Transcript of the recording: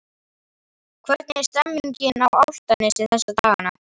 Hvernig er stemmningin á Álftanesi þessa dagana?